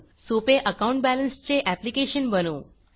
सोपे अकाउंट बॅलन्सचे ऍप्लिकेशन बनवू